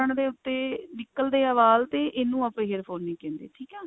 ਕਰਨ ਦੇ ਉੱਤੇ ਨਿਕਲਦੇ ਐ ਵਾਲ ਤਾਂ ਇਹਨੂੰ ਆਪਾਂ hair fall ਨਹੀਂ ਕਹਿੰਦੇ ਠੀਕ ਹੈ